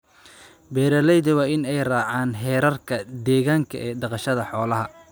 Beeralayda waa in ay raacaan heerarka deegaanka ee dhaqashada xoolaha.